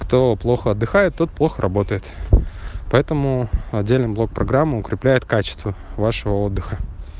кто плохо отдыхает тот плохо работает поэтому отдельный блок программу укрепляет качество вашего отдыха